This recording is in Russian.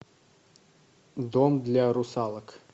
дом для русалок